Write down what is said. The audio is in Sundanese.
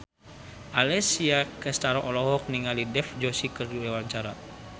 Alessia Cestaro olohok ningali Dev Joshi keur diwawancara